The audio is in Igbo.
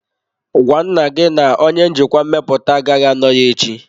Gwa nna gị na onye njikwa mmepụta agaghị anọ ya echi.